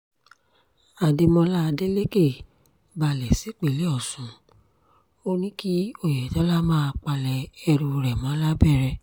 adémọlá adelèké balẹ̀ sípínlẹ̀ ọ̀ṣun ó ní kí oyetola máa palẹ̀ ẹrù rẹ̀ mọ́ labẹ́rẹ́